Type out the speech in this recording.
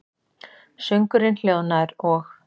Söngurinn hljóðnaður, og